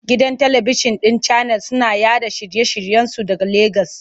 Gidan talibikjin ɗin Channels suna yaɗa shirye-shiryensu daga Legas.